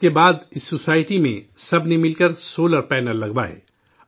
اس کے بعد اس سوسائٹی میں سب نے مل کر سولر پینل لگوائے